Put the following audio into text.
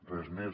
res més